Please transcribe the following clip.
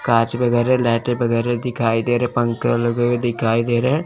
कांच वगैरा लाइटें वगैरा दिखाई दे रहे पंखे लगे हुए दिखाई दे रहे--